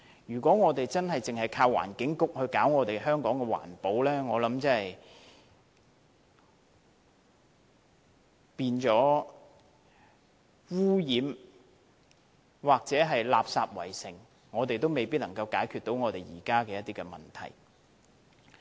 如果只靠環境局搞好香港的環保，我想即使香港變得污染或垃圾圍城，我們仍未能解決現時的問題。